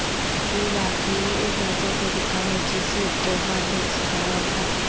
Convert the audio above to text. یہ واقعی ایک ایسا طریقہ ہے جسے بوہھا نے سکھایا تھا